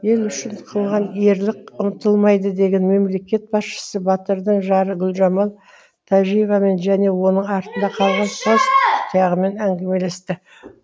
ел үшін қылған ерлік ұмытылмайды деген мемлекет басшысы батырдың жары гүлжамал тәжиевамен және оның артында қалған қос тұяғымен әңгімелесті